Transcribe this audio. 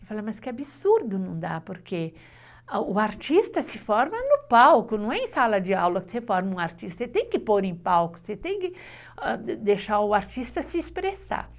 Eu falei, mas que absurdo não dá, porque o artista se forma no palco, não é em sala de aula que você forma um artista, você tem que pôr em palco, você tem que deixar o artista se expressar.